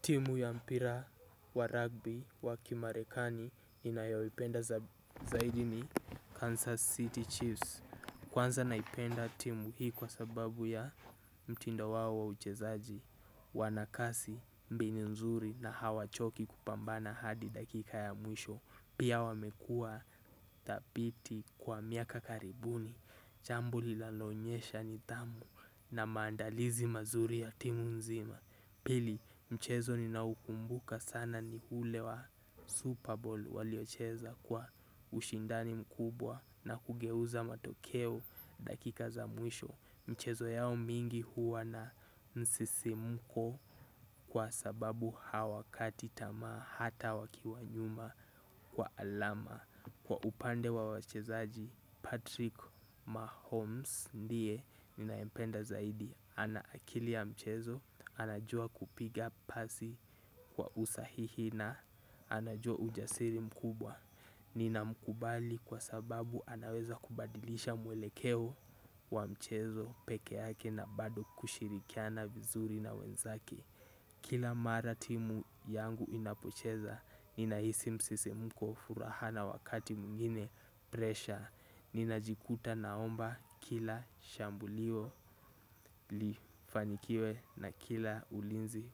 Timu ya mpira wa rugby wakimarekani ninayaipenda zaidini Kansas City Chiefs. Kwanza naipenda timu hii kwa sababu ya mtinda wawo wa uchezaji. Wanakasi mbini nzuri na hawachoki kupambana hadi dakika ya mwisho. Pia wamekua tapiti kwa miaka karibuni. Chambu lila lonyesha ni dhamu na maandalizi mazuri ya timu nzima. Pili mchezo ninaukumbuka sana ni hule wa Super Bowl waliocheza kwa ushindani mkubwa na kugeuza matokeo dakika za mwisho. Mchezo yao mingi huwa na msisimuko kwa sababu hawakati tama hata wakiwanyuma kwa alama. Kwa upande wa wachezaji Patrick Mahomes ndiye ninayempenda zaidi. Anaakili ya mchezo, anajua kupiga pasi kwa usahihi na anajua ujasiri mkubwa. Nina mkubali kwa sababu anaweza kubadilisha mwelekeo wa mchezo peke yake na bado kushirikiana vizuri na wenzaki. Kila maratimu yangu inapocheza, ninahisi msisi mko furahana wakati mwingine, presha. Nina jikuta naomba kila shambulio lifanikiwe na kila ulinzi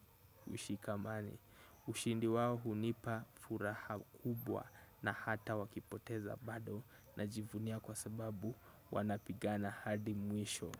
ushikamane. Ushindi wawo hunipa furaha kubwa na hata wakipoteza bado na jivunia kwa sababu wanapigana hadi mwisho.